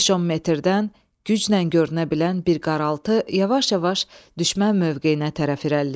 Beş-10 metrdən güclə görünə bilən bir qaraltı yavaş-yavaş düşmən mövqeyinə tərəf irəliləyirdi.